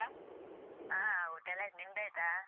ಹಾ ಊಟ ಎಲ್ಲ ಆಯ್ತು ನಿಮ್ದು ಆಯ್ತಾ?